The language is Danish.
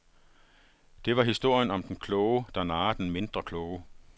Det var historien om den kloge, der narrer den mindre kloge.